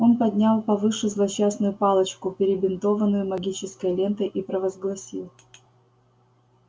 он поднял повыше злосчастную палочку перебинтованную магической лентой и провозгласил